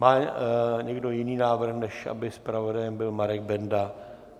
Má někdo jiný návrh, než aby zpravodajem byl Marek Benda?